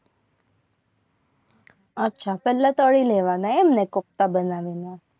આ પહેલા તળી લેવાના એમને કોફતા બનાવીને